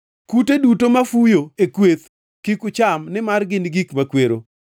Kute duto mafuyo e kweth kik ucham nimar gin gik makwero.